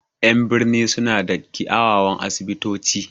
En birni sun na da kiawawan asibito ci